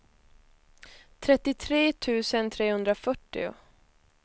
trettiotre tusen trehundrafyrtio